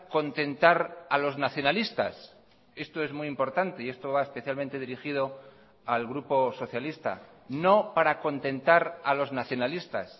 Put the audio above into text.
contentar a los nacionalistas esto es muy importante y esto va especialmente dirigido al grupo socialista no para contentar a los nacionalistas